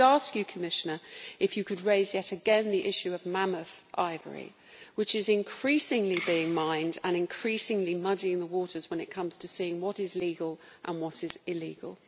I would ask you, Commissioner, to raise yet again the issue of mammoth ivory, which is increasingly being mined and is increasingly muddying the waters when it comes to seeing what is legal and what is illegal.